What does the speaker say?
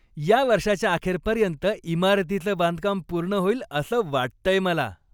या वर्षाच्या अखेरपर्यंत इमारतीचं बांधकाम पूर्ण होईल असं वाटतंय मला.